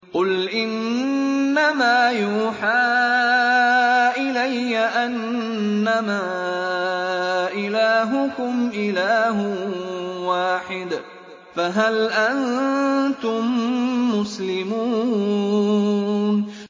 قُلْ إِنَّمَا يُوحَىٰ إِلَيَّ أَنَّمَا إِلَٰهُكُمْ إِلَٰهٌ وَاحِدٌ ۖ فَهَلْ أَنتُم مُّسْلِمُونَ